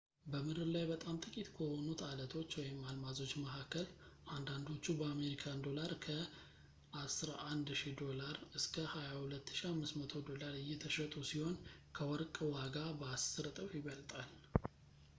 በምድር ላይ በጣም ጥቂት ከሆኑት ዐለቶች/አልማዞች መካከል አንዳንዶቹ በአሜሪካን ዶላር ከ us$11,000 ዶላር እስከ $22,500 ዶላር እየተሸጡ ሲሆን ከወርቅ ዋጋ በአስር እጥፍ ይበልጣል